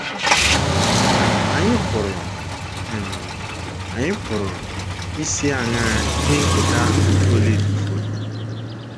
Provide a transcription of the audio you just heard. um Ànyị pụrụ um Ànyị pụrụ isi aṅaa ihe nketa ahụ Okolie tụfuru?